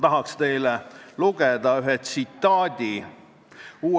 Paljudest küsimustest eelkõneleja juba andis ülevaate, ma puudutan neid põgusalt.